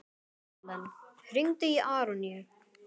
Erlen, hringdu í Aroníu.